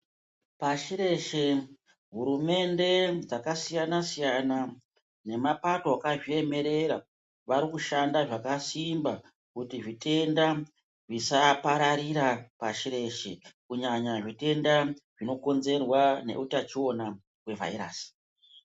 Pashi reshe hurumende dzakasiyana siyana nemapako akazviemerera vanoshanda zvakasimba kuti zvitenda zvisapararira pashi reshe kunyanya zvitenda zvinokonzerwa nehutachiona hwevhairasi.